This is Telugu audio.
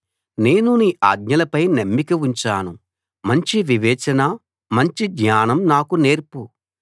నేను నీ ఆజ్ఞలపై నమ్మిక ఉంచాను మంచి వివేచన మంచి జ్ఞానం నాకు నేర్చు